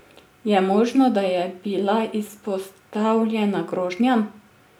Je možno, da je bila izpostavljena grožnjam?